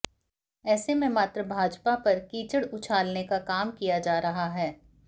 ऐसे में मात्र भाजपा पर कीचड़ उछालने का काम किया जा रहा है